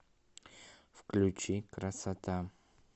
включи красота